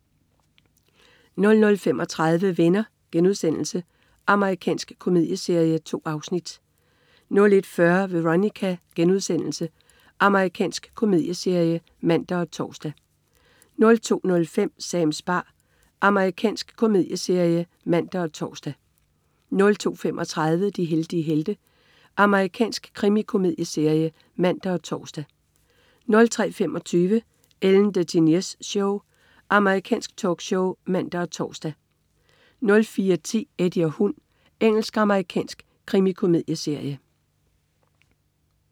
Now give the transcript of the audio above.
00.35 Venner.* Amerikansk komedieserie. 2 afsnit 01.40 Veronica.* Amerikansk komedieserie (man og tors) 02.05 Sams bar. Amerikansk komedieserie (man og tors) 02.35 De heldige helte. Amerikansk krimikomedieserie (man og tors) 03.25 Ellen DeGeneres Show. Amerikansk talkshow (man og tors) 04.10 Eddie og hund. Engelsk-amerikansk krimikomedieserie